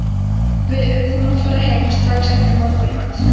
Við urðum að fara heim strax eftir morgunmat.